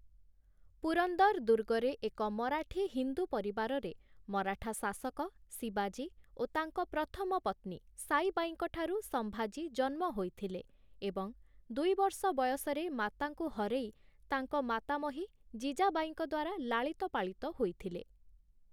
ପୁରନ୍ଦର ଦୁର୍ଗରେ ଏକ ମରାଠୀ ହିନ୍ଦୁ ପରିବାରରେ ମରାଠା ଶାସକ ଶିବାଜୀ ଓ ତାଙ୍କ ପ୍ରଥମ ପତ୍ନୀ ସାଇବାଈଙ୍କ ଠାରୁ ସମ୍ଭାଜୀ ଜନ୍ମ ହୋଇଥିଲେ ଏବଂ ଦୁଇ ବର୍ଷ ବୟସରେ ମାତାଙ୍କୁ ହରେଇ ତାଙ୍କ ମାତାମହୀ ଜିଜାବାଈଙ୍କ ଦ୍ୱାରା ଲାଳିତପାଳିତ ହୋଇଥିଲେ ।